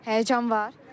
Həyəcan var?